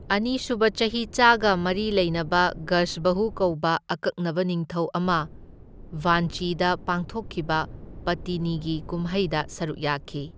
ꯑꯅꯤ ꯁꯨꯕ ꯆꯍꯤꯆꯥꯒ ꯃꯔꯤ ꯂꯩꯅꯕ ꯒꯖꯕꯍꯨ ꯀꯧꯕ ꯑꯀꯛꯅꯕ ꯅꯤꯡꯊꯧ ꯑꯃ ꯚꯥꯟꯆꯤꯗ ꯄꯥꯡꯊꯣꯛꯈꯤꯕ ꯄꯠꯇꯤꯅꯤꯒꯤ ꯀꯨꯝꯍꯩꯗ ꯁꯔꯨꯛ ꯌꯥꯈꯤ꯫